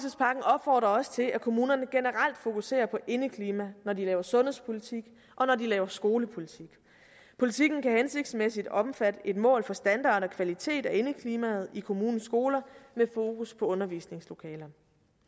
opfordrer også til at kommunerne generelt fokuserer på indeklima når de laver sundhedspolitik og når de laver skolepolitik politikken kan hensigtsmæssigt omfatte et mål for standard og kvalitet af indeklimaet i kommunens skoler med fokus på undervisningslokalerne